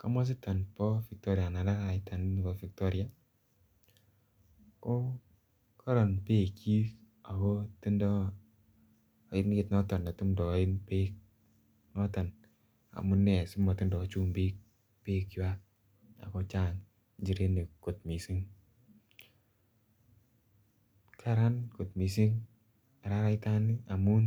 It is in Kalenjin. komositan bo victoria anan araraita nebo victoria ko korom bekchin ako tindoi oinet noton netumtoen beek noton amune simatindoi chumbik bek chwai ako chang' njirenik kot mising' karan kot mising' araratan amun